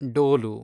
ಡೋಲು